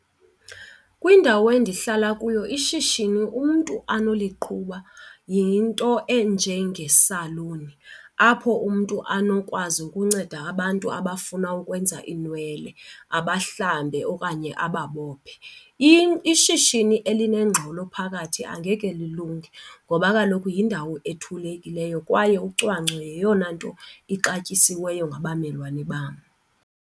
Kwindawo endihlala kuyo ishishini umntu anoliqhuba yinto enjengesaluni apho umntu anokwazi ukunceda abantu abafuna ukwenza iinwele, abahlambe okanye ababophe. Ishishini elinengxolo phakathi angeke lilunge ngoba kaloku yindawo ethulekileyo kwaye ucwangco yeyona nto ixatyisiweyo ngabamelwane bam.